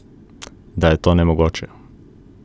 Da je to nemogoče?